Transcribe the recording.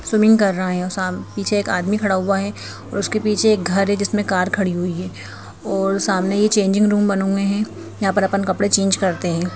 Swimming कर रहा है और साम पीछे एक आदमी खड़ा हुआ है और उसके पीछे एक घर है जिसमें कार खड़ी हुई है और सामने ये चेंजिंग रूम बने हुए हैं यहां पर अपन कपड़े चेंज करते हैं।